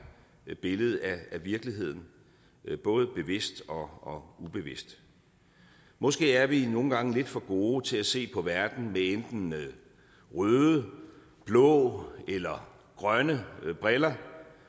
billedet af virkeligheden både bevidst og og ubevidst måske er vi nogle gange lidt for gode til at se på verden med enten røde blå eller grønne briller